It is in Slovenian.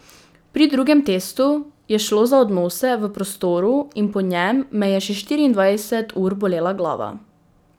Pri drugem testu je šlo za odnose v prostoru in po njem me je še štiriindvajset ur bolela glava.